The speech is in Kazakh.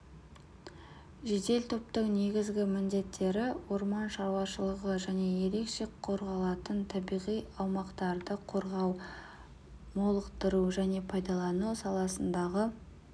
жедел топтың негізгі міндеттері орман шаруашылығы және ерекше қорғалатын табиғи аумақтарды қорғау молықтыру және пайдалану саласындағы